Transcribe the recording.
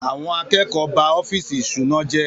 Àwọn akẹ́kọ̀ọ́ ba ọ́fíìsì ìṣúná jẹ́.